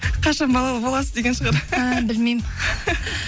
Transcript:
қашан балалы боласыз деген шығар ііі білмеймін